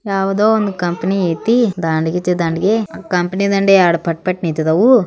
ಯಾವದೋ ಒಂದು ಕಂಪನಿ ಐತಿ ದಾಂಡ್ಗಿಜಿ ದಾಂಡಗಿ ಕಂಪನಿ ದಾಂಡಿಗ ಯಾರ್ಡ್ ಪಟ್ ಪಟೇ ನೀತಿದವು.